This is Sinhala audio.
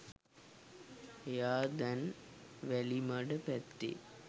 එයා දැන් වැලිමඩ පැත්තේ